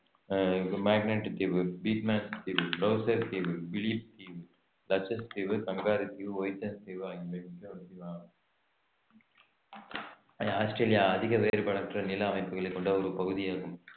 ஆஹ் Magnet தீவு தீவு தீவு பிலிப் தீவு கங்காரு தீவு ஆகியவை ஆஸ்திரேலியா அதிக வேறுபாடற்ற நில அமைப்புகளை கொண்ட ஒரு பகுதியாகும்